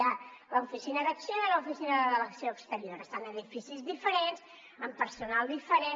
hi ha l’oficina d’acció i l’oficina de l’acció exterior estan en edificis diferents amb personal diferent